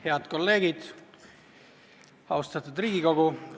Head kolleegid, austatud Riigikogu!